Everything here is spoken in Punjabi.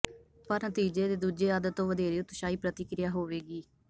ਪਰ ਨਤੀਜੇ ਦੇ ਦੂਜੇ ਅੱਧ ਤੋਂ ਵਧੇਰੇ ਉਤਸ਼ਾਹੀ ਪ੍ਰਤੀਕ੍ਰਿਆ ਹੋਵੇਗੀ